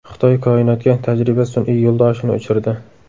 Xitoy koinotga tajriba sun’iy yo‘ldoshini uchirdi.